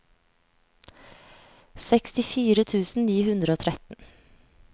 sekstifire tusen ni hundre og tretten